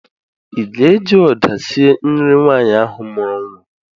Ị ga-eji ụda sie nri nwaanyị ahụ mụrụ nwa?